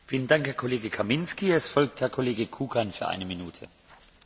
Bielorusko zostáva poslednou autoritatívnou krajinou v Európe.